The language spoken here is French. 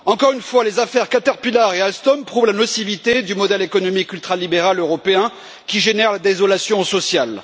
Encore une fois, les affaires Caterpillar et Alstom prouvent la nocivité du modèle économique ultralibéral européen, qui génère la désolation sociale.